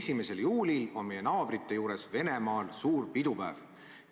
1. juulil on meie naabrite juures Venemaal suur pidupäev.